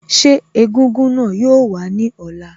Ṣé egúngún náà yoo wá ní ọ̀la?